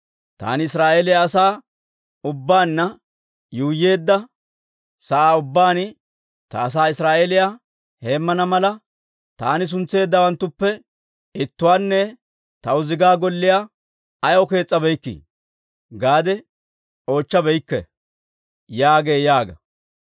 Taani Israa'eeliyaa asaa ubbaanna yuuyyeedda sa'aa ubbaan, ta asaa Israa'eeliyaa heemmana mala, taani suntseeddawanttuppe ittuwaanne taw zigaa golliyaa ayaw kees's'abeykkii? gaade oochchabeykke› » yaagee yaaga.